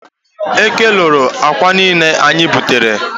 Eke loro akwa niile anyị butere.